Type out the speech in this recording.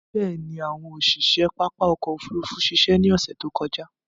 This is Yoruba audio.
Bẹ̀ẹ̀ni, àwọn òṣiṣe pápá ọkò òfurufú ṣiṣẹ́ ní ọsẹ̀ tí ó kọjá.